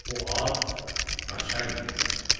Bu at naçalnikin atı idi.